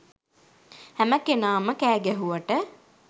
හැම කෙනාම කෑගැහුවට